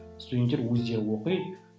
студенттер өздері оқиды